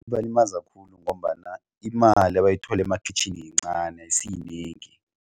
Kubalimaza khulu ngombana imali abayithola emakhitjhini yincani ayisiyinengi.